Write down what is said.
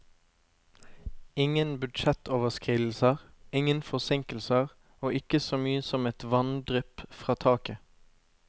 Ingen budsjettoverskridelser, ingen forsinkelser og ikke så mye som et vanndrypp fra taket.